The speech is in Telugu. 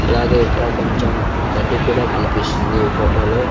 అలాగే ఇక్కడ కొంచెం గడ్డి కూడా కనిపిస్తుంది ఈ ఫోటో లో --